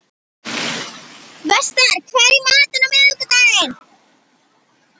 Vestar, hvað er í matinn á miðvikudaginn?